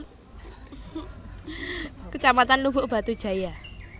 Kecamatan Lubuk Batu Jaya